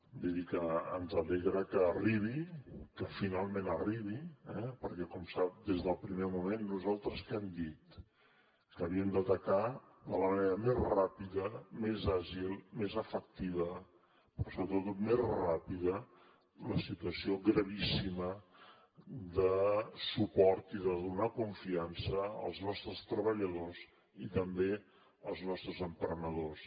vull dir que ens alegra que arribi que finalment arribi eh perquè com sap des del primer moment nosaltres què hem dit que havíem d’atacar de la manera més ràpida més àgil més efectiva però sobretot més ràpida la situa ció gravíssima de suport i de donar confiança als nostres treballadors i també als nostres emprenedors